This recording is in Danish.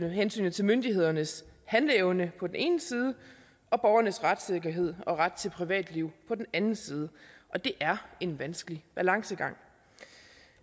hensynet til myndighedernes handleevne på den ene side og borgernes retssikkerhed og ret til privatliv på den anden side og det er en vanskelig balancegang